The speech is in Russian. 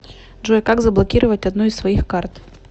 джой как заблокировать одну из своих карт